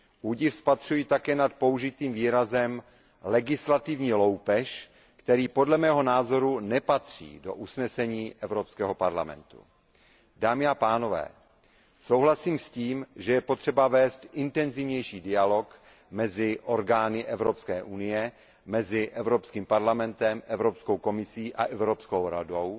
Údiv spatřuji také nad použitým výrazem legislativní loupež, který podle mého názoru nepatří do usnesení Evropského parlamentu. Dámy a pánové, souhlasím s tím, že je potřeba vést intenzivnější dialog mezi orgány Evropské unie, mezi Evropským parlamentem, Evropskou komisí a Evropskou radou,